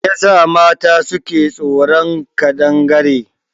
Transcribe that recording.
Me yasa mata suke tsoron kadangare?